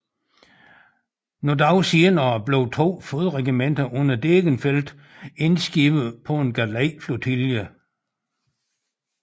Nogen dage senere blev to fodregimenter under Degenfeld indskibede på en galejflotilje